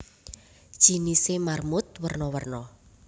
Jinisé marmut werna werna